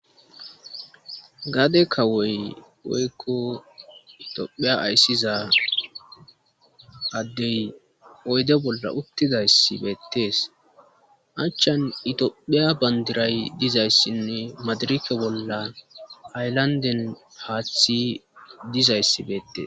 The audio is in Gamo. gade kawoy oykko itophiya ayssiza addey oyde bolla uttidayssibeettees achchan itophiya bandiray dizayssinne madirike bolla ayllanden haaththi dizayssibeettees